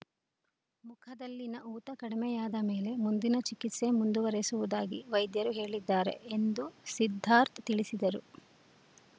ಮುಖದಲ್ಲಿನ ಊತ ಕಡಿಮೆಯಾದ ಮೇಲೆ ಮುಂದಿನ ಚಿಕಿತ್ಸೆ ಮುಂದುವರೆಸುವುದಾಗಿ ವೈದ್ಯರು ಹೇಳಿದ್ದಾರೆ ಎಂದು ಸಿದ್ದಾರ್ಥ್ ತಿಳಿಸಿದರು